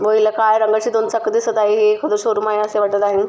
व हिला काळ्या रंगाचे दोन चाक दिसत आहे एखाद शोरूम आहे असे वाटत आहे.